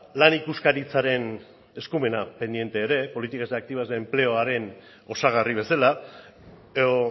lan ikuskaritzaren eskumena pendiente ere políticas activas de empleoren osagarri bezala edo